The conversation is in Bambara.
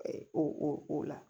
O o o la